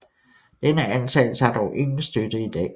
Denne antagelse har dog ingen støtte i dag